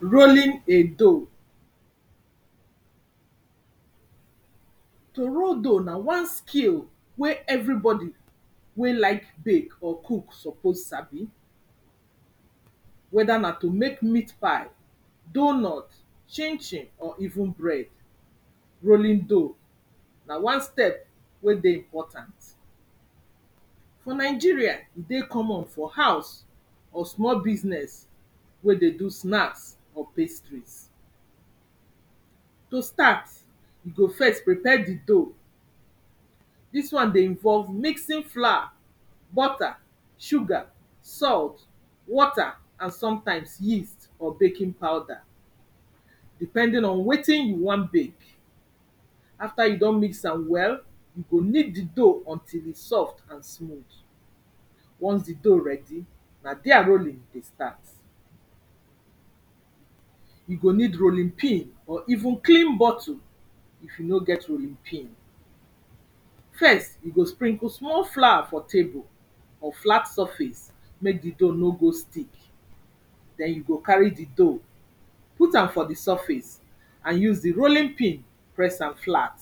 roling a doh to roll dough na one skill wey everybodi wey like bake or cook suppose sabi weda na to mek meatpie, doughnut, chin chin or even bread, rolling dough na one step wey dey important. for nigeria e dey common for house or small business wey dey do snacks or pasteries. to start, you go first prepare di dough di wan dey invole mixing floor, buter, sgar, water and sometimes yeast or baking powder depending on wetin you wan bake. after you don mix am well, you go need di dough until e soft and smooth once di dough don ready, na there rolling dey start. you go need rolling pin or even clean buttle if you no get roling pin. first you go sprinkle small flour for table mey di dough no go stick. den yu go carry di dough, put am for di surface, and use di rolling pin press am flat.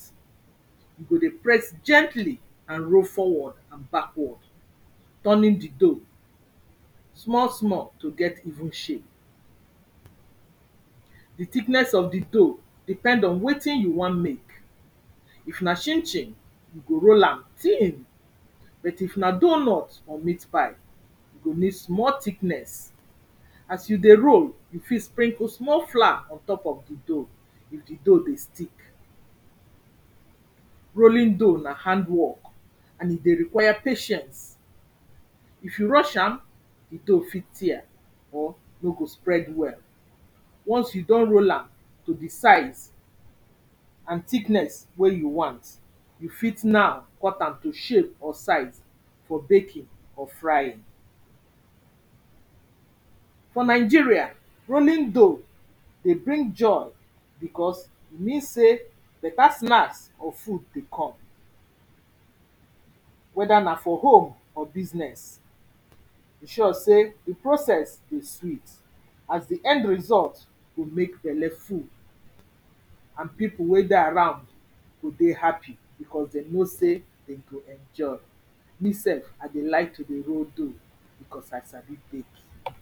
you go dey press gently and roll forward and backward turning di dough small small to get even shape. di thickness of di dough depend on wetin you wan mek. if na chin chn, you go roll am thin but if na doughnut or meat-pie, you go need small thickness as you dey roll, you fit sprinkle small floor for di dough if di dough dey stick rolling dough na hand work and e dey require patient if you rush am, di dough fit tear or e no go spread wel, once you don roll am to di size, and tickness wey you want, you fit now cut am to shape or size for baking wey you want for frying for nigeria, rolling dough dey bring joy because e mean sey beta snacks or food dey come weda na for home or business e show us sey di process dey sweet as di end result dey mek belle full and pipu wey dey around go dey happy because de kow sey den go enjoy. me self i dey like to dey roll dough because i sabi.